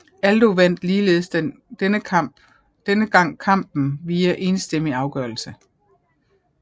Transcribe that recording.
Aldo vandt ligeledes denne gang kampen via enstemmig afgørelse